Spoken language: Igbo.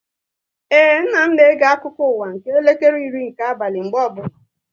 Ee, nna m na-ege akụkọ ụwa nke elekere iri nke abalị mgbe ọbụla